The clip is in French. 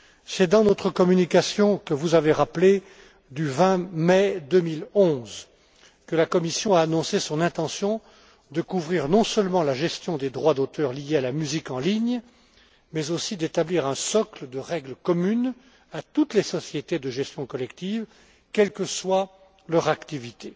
C'est dans sa communication du 20 mai 2011, que vous avez évoquée, que la Commission a annoncé son intention de couvrir non seulement la gestion des droits d'auteur liée à la musique en ligne mais aussi d'établir un socle de règles communes à toutes les sociétés de gestion collective, quelle que soit leur activité.